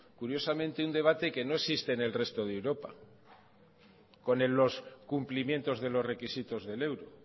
curiosamente un debate que no existe en el resto de europa con los cumplimientos de los requisitos del euro